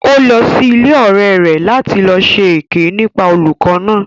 Ó lọ sí ilé ọ̀rẹ rẹ̀ láti lọ ṣe èké nípa olùkó náà